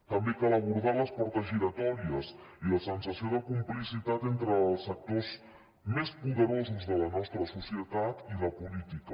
també cal abordar les portes giratòries i la sensació de complicitat entre els sectors més poderosos de la nostra societat i la política